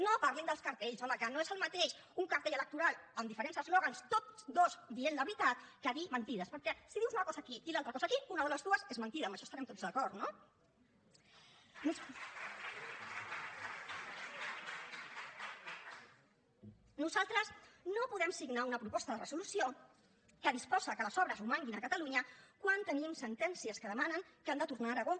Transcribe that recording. no parlin dels cartells home que no és el mateix un cartell electoral amb diferents eslògans tots dos dient la veritat que dir mentides perquè si dius una cosa aquí i l’altra cosa aquí una de les dues és mentida amb això hi estarem tots d’acord no nosaltres no podem signar una proposta de resolució que disposa que les obres romanguin a catalunya quan tenim sentències que demanen que han de tornar a aragó